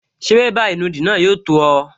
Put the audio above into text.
Ṣé bébà ìnùdí náà yóò tó ọ?